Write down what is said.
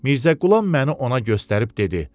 Mirzə Qulam məni ona göstərib dedi: